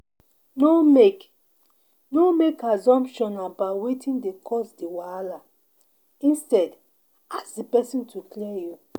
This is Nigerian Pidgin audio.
No make No make assumption about wetin dey cause di wahala instead ask di person to clear you